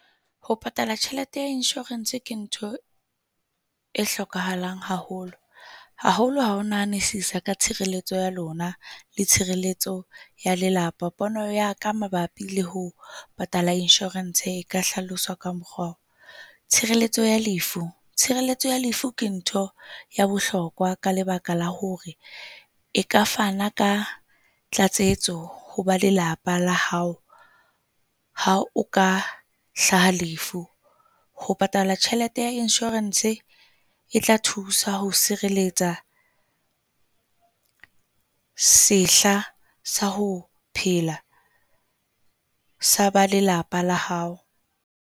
Ho patala tjhelete ya insurance ke ntho e hlokahalang haholo, haholo ha o nahanisisa ka tshireletso ya lona le tshireletso ya lelapa. Pono ya ka mabapi le ho patala insurance e ka hlaloswa ka mokgwa tshireletso ya lefu. Tshireletso ya lefu ke ntho ya bohlokwa ka lebaka la hore e ka fana ka tlatsetso ho ba lelapa la hao ha o ka hlaha lefu. Ho patala tjhelete ya insurance e tla thusa ho sireletsa sehla sa ho phela sa ba lelapa la hao.